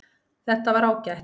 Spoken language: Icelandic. Þetta var ágætt